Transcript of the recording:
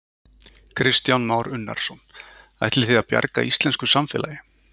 Kristján Már Unnarsson: Ætlið þið að bjarga íslensku samfélagi?